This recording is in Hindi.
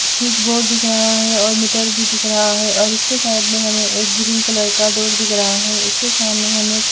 स्विच बोर्ड दिख रहा है और मीटर भी दिख रहा है और उसके साइड में हमें एक ग्रीन कलर का डोर दिख रहा है उसके सामने हमें--